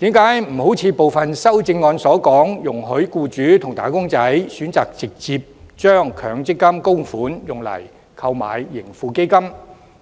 為何不如部分修正案所述，容許僱主和"打工仔"選擇直接將強積金供款用以購買盈富基金、投